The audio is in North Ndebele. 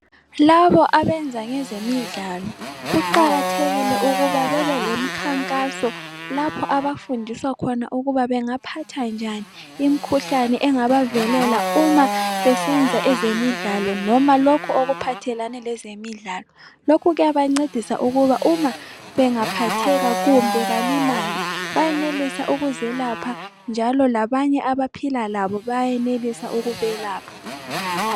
Labo abenza ngezemidlalo, kuqakathekile ukuba bebelemkhankaso lapho abafundiswa khona ukuba bengaphatha njani imikhuhlane engabavelela uma besenza ezemidlalo noma lokho okuphathelane lezemidlalo. Lokhu kuyabancedisa uma bengaphatheka kumbe balimale ,bayenelisa ukuzelapha njalo labanye abaphila labo bayenelisa ukubelapha.